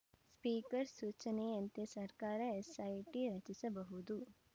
speaker ಸೂಚನೆಯಂತೆ ಸರ್ಕಾರ SIT ರಚಿಸಬಹುದು